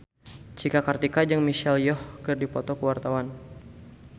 Cika Kartika jeung Michelle Yeoh keur dipoto ku wartawan